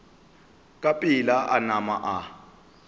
ka pela a nama a